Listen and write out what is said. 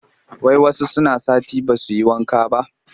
Wai wasu suna sati ba su yi wanka ba